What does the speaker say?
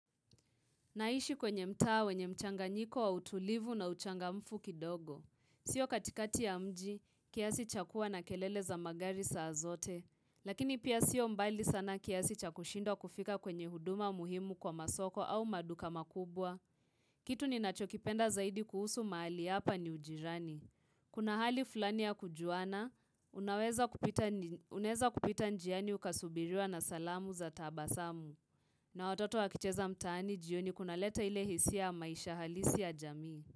Naishi kwenye mtaa wenye mchanganyiko wa utulivu na uchangamfu kidogo. Sio katikati ya mji, kiasi chakuwa na kelele za magari saa azote. Lakini pia sio mbali sana kiasi chakushindwa kufika kwenye huduma muhimu kwa masoko au maduka makubwa. Kitu ninachokipenda zaidi kuhusu mahali hapa ni ujirani. Kuna hali fulani ya kujuana, unaweza kupita njiani ukasubiriwa na salamu za tabasamu. Na watoto wakicheza mtaani jioni kunaleta ile hisia maisha halisi ya jamii.